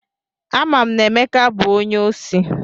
Ama m na Emeka bụ onye osi.